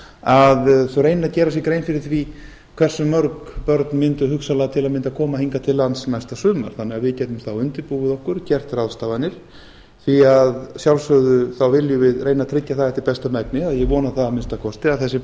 að þau reyni að gera sér grein fyrir því hversu mörg börn mundu hugsanlega til að mynda koma hingað til lands næsta sumar þannig að við getum þá undirbúið okkur gert ráðstafanir því að sjálfsögðu viljum við reyna að tryggja það eftir besta megni eða ég vona það að minnsta kosti að þessi